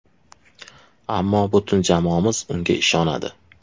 Ammo butun jamoamiz unga ishonadi.